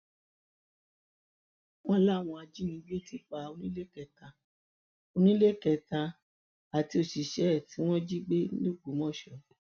wọn láwọn ajínigbé ti pa oníléekétà oníléekétà àti òṣìṣẹ ẹ tí wọn jí gbé lọgbọmọso